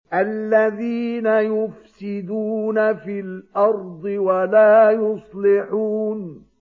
الَّذِينَ يُفْسِدُونَ فِي الْأَرْضِ وَلَا يُصْلِحُونَ